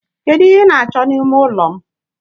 Kedu ihe ị na-achọ n'ime ime ụlọ m?